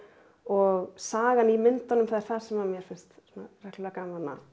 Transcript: og sagan í myndunum er það sem mér finnst reglulega gaman að